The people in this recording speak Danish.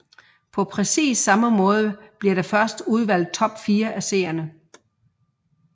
På præcis samme måde bliver der først udvalgt top 4 af seerne